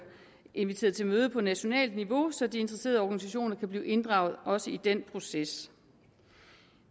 inviteret til møde på nationalt niveau så de interesserede organisationer kan blive inddraget også i den proces